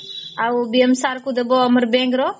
ଆଉ BM sir ଙ୍କୁ ଦିଅ ଆମ bank ର